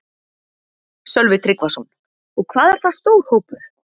Sölvi Tryggvason: Og hvað er það stór hópur?